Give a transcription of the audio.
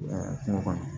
Kungo kɔnɔ